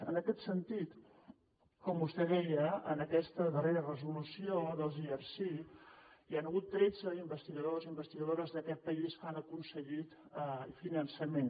en aquest sentit com vostè deia en aquesta darrera resolució dels erc hi han hagut tretze investigadors i investigadores d’aquest país que han aconseguit finançament